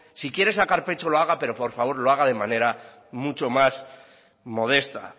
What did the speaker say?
si quiere sacar pecho lo haga pero por favor lo haga de manera mucho más modesta